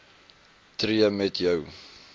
tree met jou